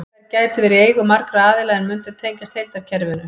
Þær gætu verið í eigu margra aðila en mundu tengjast heildarkerfinu.